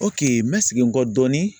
n bɛ segin n kɔ dɔɔni.